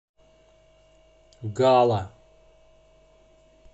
гала